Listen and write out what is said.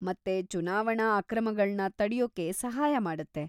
ಮತ್ತೆ ಚುನಾವಣಾ ಅಕ್ರಮಗಳ್ನ ತಡ್ಯೋ‌ಕೆ ಸಹಾಯ ಮಾಡುತ್ತೆ.